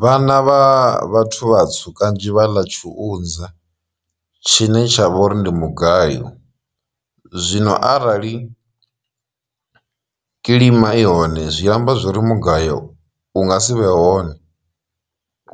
Vhana vha vhathu vhatswu kanzhi vha ḽa tshiunza tshine tsha vha uri ndi mugayo, zwino arali kilima i hone zwi amba zwori mugayo u nga si vhe hone